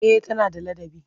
Eh tana da ladabi.